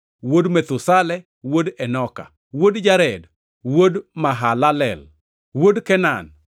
wuod Methusela, wuod Enoka, wuod Jared, wuod Mahalalel, wuod Kenan,